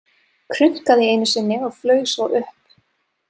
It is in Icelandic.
Krunkaði einu sinni og flaug svo upp.